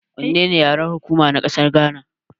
Wannene yaren hukuma na ƙasar Gana.